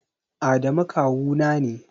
Adamu kawu na ne